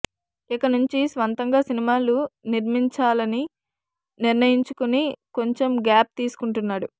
ఇకనుంచి స్వంతంగా సినిమాలు నిర్మించాలని నిర్ణయించుకుని కొంచెం గ్యాప్ తీసుకుంటున్నాడు